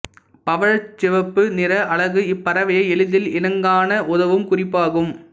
பவழச் சிவப்பு நிற அலகு இப்பறவையை எளிதில் இனங்காண உதவும் குறிப்பாகும்